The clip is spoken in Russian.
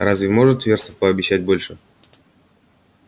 разве может вересов пообещать больше